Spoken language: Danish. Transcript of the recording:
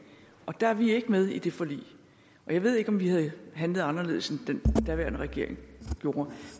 og der er vi ikke med i det forlig jeg ved ikke om vi havde handlet anderledes end den daværende regering gjorde